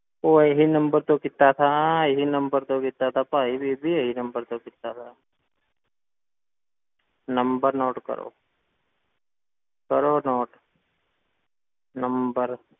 ਉਹ ਇਹੀ number ਤੋਂ ਕੀਤਾ ਸੀ, ਇਹੀ number ਤੋਂ ਕੀਤਾ ਸੀ ਭਾਈ ਬੀਬੀ ਇਹੀ number ਤੋਂ ਕੀਤਾ ਸੀ number note ਕਰੋ ਕਰੋ note number